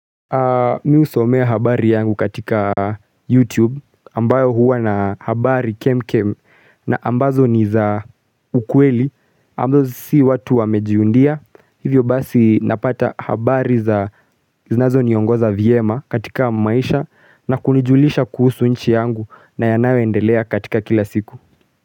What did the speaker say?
Mi husomea habari yangu katika YouTube ambayo huwa na habari kem kem na ambazo ni za ukweli ambazo si watu wamejiundia hivyo basi napata habari za zinazo niongoza vyema katika maisha na kunijulisha kuhusu nchi yangu na yanayo endelea katika kila siku.